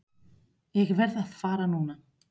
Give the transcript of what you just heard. Ég verð að fara núna!